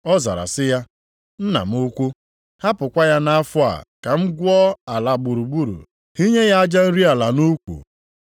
“Ọ zara sị ya, ‘Nna m ukwu, hapụkwa ya nʼafọ a, ka m gwuo ala gburugburu, hinye ya aja nri ala nʼukwu.